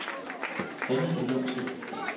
Hanne Villumsen